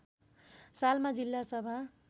सालमा जिल्ला सभा